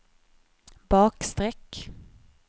bakstreck